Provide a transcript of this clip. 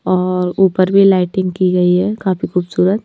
और ऊपर भी लाइटिंग की गई है काफी खूबसूरत--